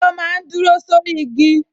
Ọ̀bọ máa n dúró sórí igi